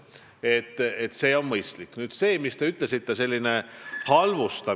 Nüüd sellest halvustamisest, millest te rääkisite.